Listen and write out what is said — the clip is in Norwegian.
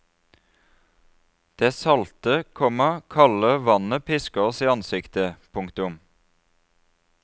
Det salte, komma kalde vannet pisker oss i ansiktet. punktum